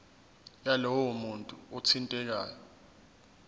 yalowo muntu othintekayo